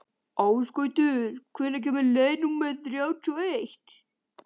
Ásgautur, hvenær kemur leið númer þrjátíu og eitt?